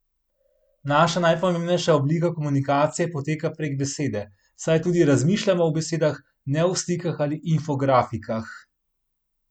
Naša najpomembnejša oblika komunikacije poteka prek besede, saj tudi razmišljamo v besedah, ne v slikah ali infografikah.